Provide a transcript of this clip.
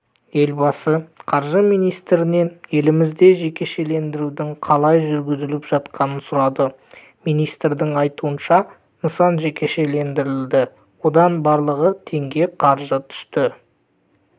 елбасы қаржы министрінен елімізде жекешелендірудің қалай жүргізіліп жатқанын сұрады министрдің айтуынша нысан жекешелендірілді одан барлығы теңге қаржы түсті